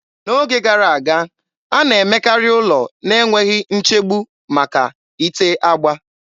N'oge gara aga, a na-emekarị ụlọ na-enweghị nchegbu maka ite agba.